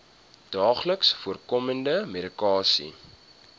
daagliks voorkomende medikasie